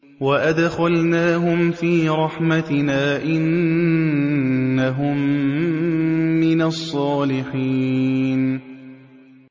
وَأَدْخَلْنَاهُمْ فِي رَحْمَتِنَا ۖ إِنَّهُم مِّنَ الصَّالِحِينَ